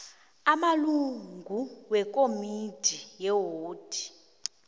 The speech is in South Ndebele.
amalungu wekomidi yewodi